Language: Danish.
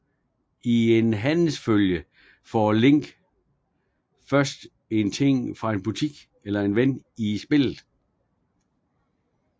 I en handelsfølge får Link først en ting fra en butik eller en ven i spillet